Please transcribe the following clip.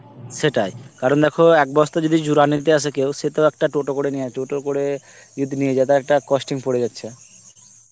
সেটাই কারণ দেখো এক বস্তা যদি জুরা নিতে আসে কেউ সে তো একটা টোটো করে নিয়া~ টোটো করে যদি নিয়ে যায় তার একটা costing পরে যাচ্ছে